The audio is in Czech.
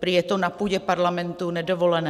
Prý je to na půdě parlamentu nedovolené.